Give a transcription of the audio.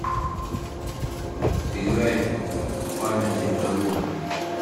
играй памяти карузо